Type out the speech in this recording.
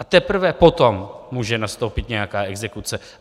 A teprve potom může nastoupit nějaká exekuce.